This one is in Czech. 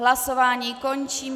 Hlasování končím.